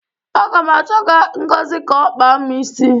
Aga m achọga Ngozi ka ọ kpaa m isi.